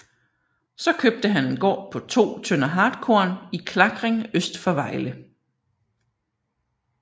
Så købte han en gård på 2 tønder hartkorn i Klakring øst for Vejle